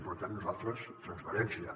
per tant nos·altres transparència